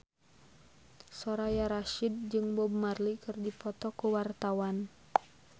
Soraya Rasyid jeung Bob Marley keur dipoto ku wartawan